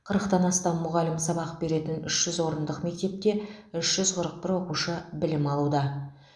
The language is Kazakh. қырықтан астам мұғалім сабақ беретін үш жүз орындық мектепте үш жүз қырық бір оқушы білім алуды